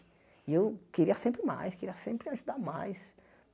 E eu queria sempre mais, queria sempre ajudar mais.